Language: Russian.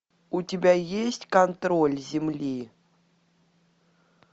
у тебя есть контроль земли